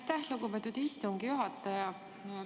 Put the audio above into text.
Aitäh, lugupeetud istungi juhataja!